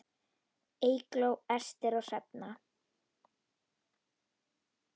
Eygló, Ester og Hrefna.